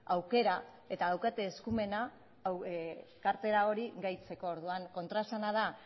aukera eta daukate eskumena kartera hori gehitzeko orduan kontraesana da